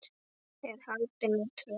er haldin í Tröð.